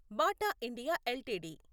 Bata India LTD